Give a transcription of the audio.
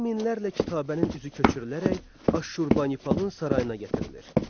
On minlərlə kitabənin üzü köçürülərək Aşurbanipalın sarayına gətirilir.